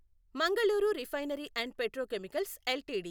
Mangaluru refinery and petrochemicals LTD